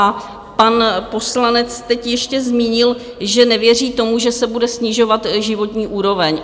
A pan poslanec teď ještě zmínil, že nevěří tomu, že se bude snižovat životní úroveň.